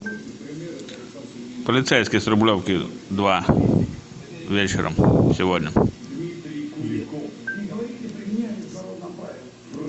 полицейский с рублевки два вечером сегодня